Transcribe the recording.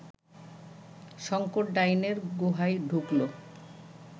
শঙ্কর ডাইনের গুহায় ঢুকল